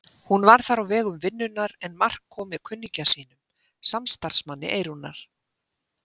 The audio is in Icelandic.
Hún var þar á vegum vinnunnar en Mark kom með kunningja sínum, samstarfsmanni Eyrúnar.